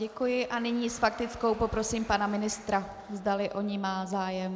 Děkuji a nyní s faktickou poprosím pana ministra, zdali o ni má zájem.